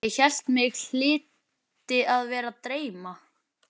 Þú skilur hvað ég er að fara.